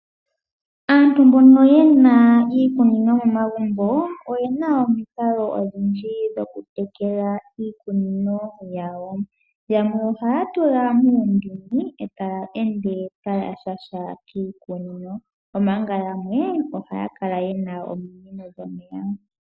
Aantu mbono yena iikunino momagubo oyena omiikalo odhindji dho kutekela iikunino yawo. Yamwe ohaya tula mundini eta ende taa shasha kiikunino omanga yamwe ohaya kala yena ominino dhomeya .